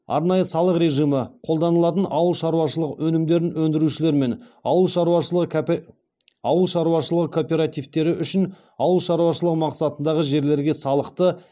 арнайы салық режимі қолданылатын ауыл шаруашылық өнімдерін өндірушілер мен ауыл шаруашылығы кооперативтері үшін ауыл шаруашылығы мақсатындағы жерлерге салықты